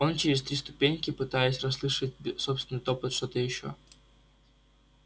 он через три ступеньки пытаясь расслышать собственный топот что-то ещё